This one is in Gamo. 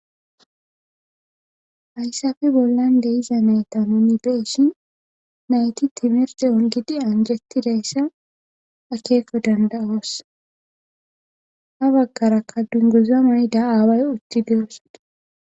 Haysape bollan de'iza nayta nu be'ishin nayti timirte ungidi anjetizayssa akkeko danda'osha bagaraka dunguza mayida away utides